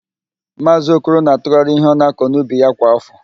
Maazị Okoro na-atụgharị ihe ọ na-akọ n'ubi ya kwa áfọ.